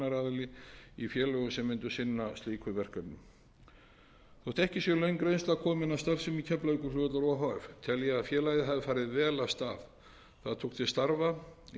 eignaraðili í félögum sem mundu sinna slíkum verkefnum þótt ekki sé löng reynsla komin á starfsemi keflavíkurflugvallar o h f tel ég að félagið hafi farið vel af stað það tók til starfa